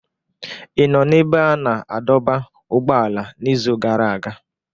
Ị nọ n'ebe a na-adọba ụgbọala n'izu gara aga?